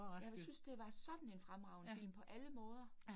Ja, men synes det var sådan en fremragende film på alle måder